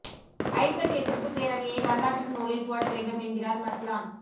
ஐசெர்ட் எதிர்ப்பு பேரணியை வரலாற்று நூலில் போட வேண்டும் என்கிறார் மஸ்லான்